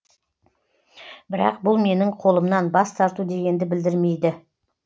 бірақ бұл менің қолымнан бас тарту дегенді білдірмейді